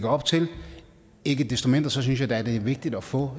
op til ikke desto mindre synes jeg da at det er vigtigt at få